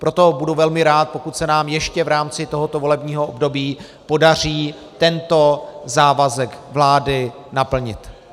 Proto budu velmi rád, pokud se nám ještě v rámci tohoto volebního období podaří tento závazek vlády naplnit.